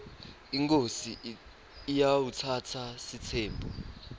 inkhosi iatsatsa sitsembu